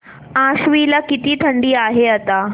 आश्वी ला किती थंडी आहे आता